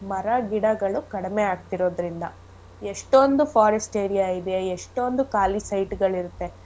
ಮರ ಗಿಡಗಳು ಕಡ್ಮೆ ಆಗ್ತಿರೋದ್ರಿಂದ. ಎಷ್ಟೋಂದು forest area ಇದೆ ಎಷ್ಟೋಂದು ಖಾಲಿ site ಗಳ್ ಇರತ್ತೆ